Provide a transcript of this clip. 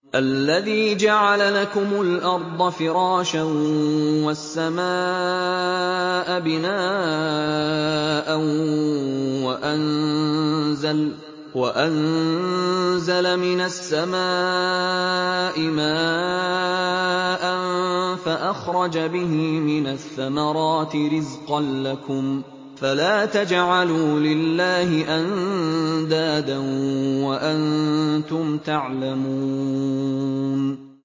الَّذِي جَعَلَ لَكُمُ الْأَرْضَ فِرَاشًا وَالسَّمَاءَ بِنَاءً وَأَنزَلَ مِنَ السَّمَاءِ مَاءً فَأَخْرَجَ بِهِ مِنَ الثَّمَرَاتِ رِزْقًا لَّكُمْ ۖ فَلَا تَجْعَلُوا لِلَّهِ أَندَادًا وَأَنتُمْ تَعْلَمُونَ